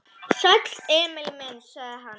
Sæll, Emil minn, sagði hann.